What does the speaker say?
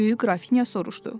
Böyük Qrafinya soruşdu.